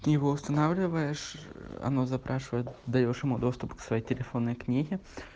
его устанавливаешь оно запрашивает даёшь ему доступ к своей телефонной книге